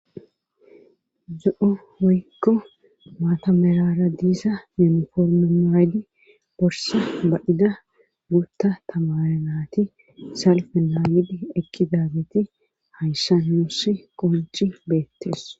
Zo,o woykko maata merara diisa minforme maaydi borsa badida guutta tamaranati salfe naayidi ekki daageti hayssa noossi qonci beettes